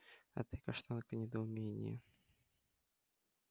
а ты каштанка недоумение